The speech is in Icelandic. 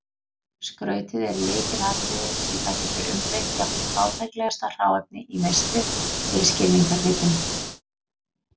Skrautið er lykilatriði því það getur umbreytt jafnvel fátæklegasta hráefni í veislu fyrir skilningarvitin.